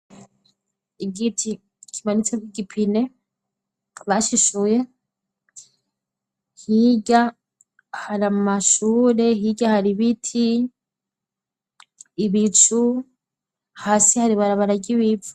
Igiti kimanitseko igipine bashishuye, hirya hari amashure hirya hari ibiti, ibicu hasi hari ibarabara ryibivu.